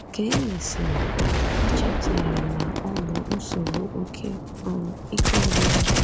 Ka e mesịrị, a chọpụtara na ọ bụ nsogbu oké um ike ọgwụgwụ.